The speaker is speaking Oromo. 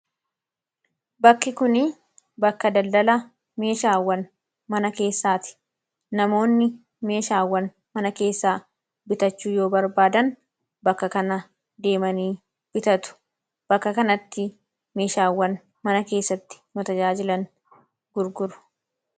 Bakki kun bakka daldala meeshaawwan mana keessaati. Namoonni meeshaawwan mana keessaa bitachuu yoo barbaadan bakka kana deemanii bitatu. Bakka kanatti meeshaawwan mana keessatti nu tajaajilan gurguru.